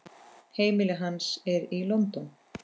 Heimili hans er í London.